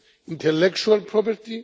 intellectual property